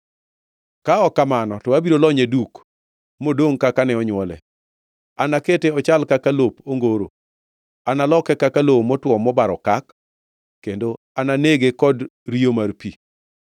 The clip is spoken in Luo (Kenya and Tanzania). Ka ok kamano to abiro lonye duk modongʼ kaka ne onywole; anakete ochal kaka lop ongoro, analoke kaka lowo motwo mobaro okak, kendo ananege kod riyo mar pi.